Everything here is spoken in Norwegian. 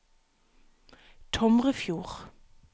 Tomrefjord